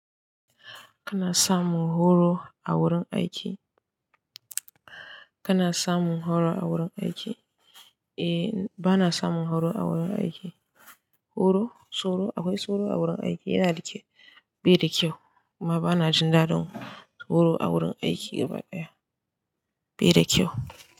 Kana samun horo a wurin aiki? Kana samun horo a wurin aiki? Eh, bana samun horo a wurin aiki. Horo, tsoro, akwai tsoro a wurin aiki yana da kyau, bai da kyau, amma bana jin daɗin horo a wurin aiki gaba ɗaya. Bai da kyau.